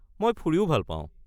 মই ফুৰিও ভাল পাওঁ।